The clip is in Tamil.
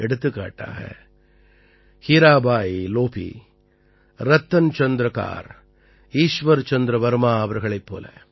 எடுத்துக்காட்டாக ஹீராபாயி லோபீ ரத்தன் சந்த்ர கார் ஈஸ்வர் சந்திர வர்மா அவர்களைப் போல